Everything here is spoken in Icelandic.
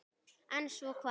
En svo hvað?